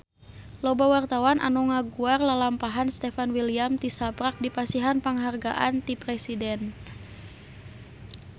Loba wartawan anu ngaguar lalampahan Stefan William tisaprak dipasihan panghargaan ti Presiden